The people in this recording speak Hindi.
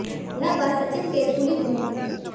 यह बात सचिन के स्कूली दिनों की है